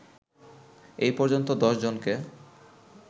এ পর্যন্ত ১০ জনকে